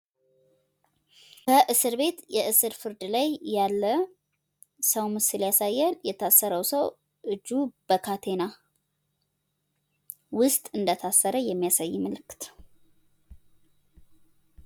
በእስር ቤት የእስር ፍርድ ላይ ያለ ሰው ምስል ያሳያል። የታሰረው ሰው እጁ በካቴና ውስጥ እንደታሰረ የሚያሳይ ምልክት።